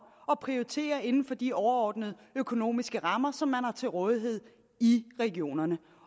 at prioritere inden for de overordnede økonomiske rammer som man har til rådighed i regionerne